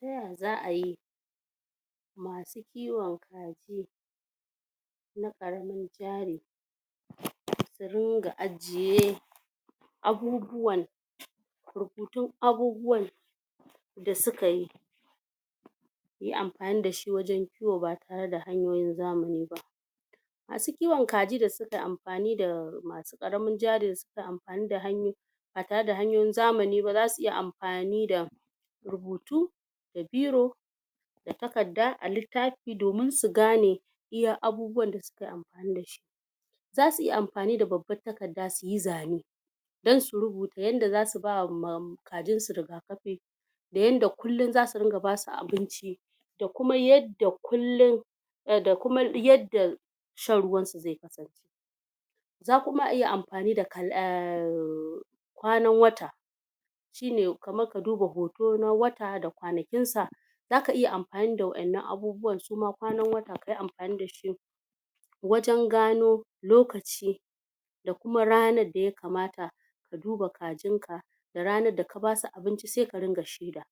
yau za'ayi kiwo na karamin jari su ringa ajiye abubuwan rubutun abubuwan da suka yi yi amfani da shi wajen kiwo ba tare da hanyoyin zamani ba su kiwon kaji da suke amfani da karamin jari sun fi amfani da hanyoyi ba tare da hanyoyin zamani zasu iya amfani da rubutu da biro da takarda a littafi domin su gane iya abubuwan da sukayi amfani dashi zasu iya amfani da babban takarda suyi zane dan su rubuta yanda zasu ba ma kajin su rigakafi da yanda kullun zasu ringa basu abinci da kuma yadda kullun da kuma yadda shan ruwan su zaiyi za kuma a iya amfani da um kwanin wata shine kamar ka duba hoto na wata da kwanakin sa zaka iya amfani da wa'enan abubuwan suma kwanan da kayi amfani dashi wajen gano lokaci da kuma ranar da yakamata ka duba kajin ka da ranar da ka basu abinci sai ka ringa shaida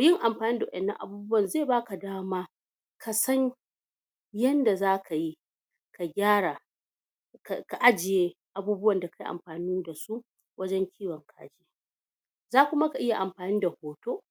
yin amfani da wa'ennan abubuwan zai baka dama kasan yanda zakayi da gyara ka ajiye abubuwan da kayi amfani dasu wajen kiwon za kuma ka iya amfani da hoto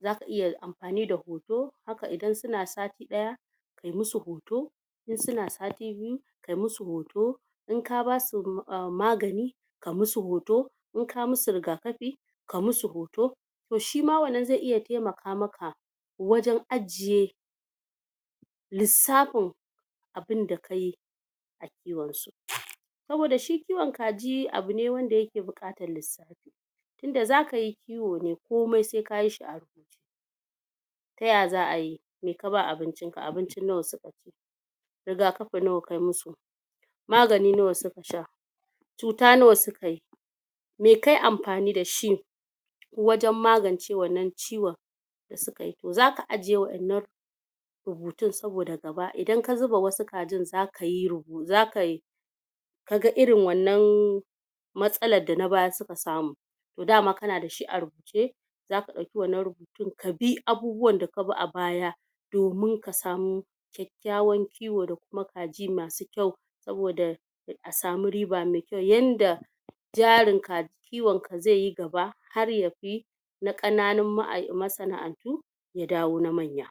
zaka iya amfani da hoto haka idan suna sati daya kayi musu hoto in suna sati biyu ka musu hoto in ka basu magani ka musu hoto in ka musu rigakafi ka musu hoto toh shima wannan zai iya taimaka maka wajen ajiye lissafin abun da kayi kiwon su saboda shi kiwon kaji abune wanda yake bukatan lissafi tunda zaka yi kiwo ne komai sai kayi taya za'a yi mai ka bawa abincin ka abincin nawa suka rigakafi nawa ka musu magani nawa suka sha cuta nawa suka yi meh kayi amfani dashi wajen magance wannan ciwon da sukayi to zaka ajiye wa'ennan rubutun saboda gaba idan ka zuba wasu kajin za zaka yi ga irin wannan matsala da na baya suka samu dama kana da shi a rubuce zaka dauki wannan rubutun ka bi abubuwan da ka bi a baya domin kasamu kykyawan kiwo da kuma kaji masu kyau saboda a samu riba mai kyau yanda gyarin ka kiwon ka zaiyi gaba har yafi na kananun masana'antu ya dawo na manya